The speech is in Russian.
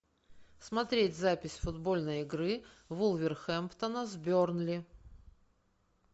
смотреть запись футбольной игры вулверхэмптона с бернли